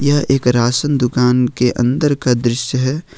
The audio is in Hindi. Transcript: यह एक राशन दुकान के अंदर का दृश्य है।